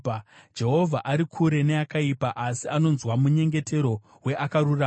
Jehovha ari kure neakaipa, asi anonzwa munyengetero weakarurama.